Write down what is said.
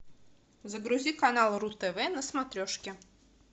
загрузи канал ру тв на смотрешке